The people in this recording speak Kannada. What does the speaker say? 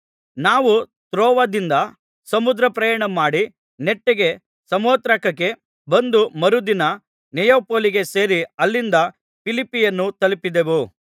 ನಾವು ತ್ರೋವದಿಂದ ಸಮುದ್ರ ಪ್ರಯಾಣಮಾಡಿ ನೆಟ್ಟಗೆ ಸಮೊಥ್ರಾಕೆಗೆ ಬಂದು ಮರುದಿನ ನೆಯಾಪೊಲಿಗೆ ಸೇರಿ ಅಲ್ಲಿಂದ ಫಿಲಿಪ್ಪಿಯನ್ನು ತಲುಪಿದೆವು